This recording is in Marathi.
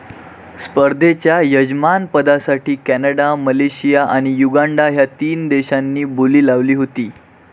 स्पर्धेच्या यजमानपदासाठी कॅनडा, मलेशिया आणि युगांडा ह्या तीन देशांनी बोली लावली होती.